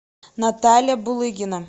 наталья булыгина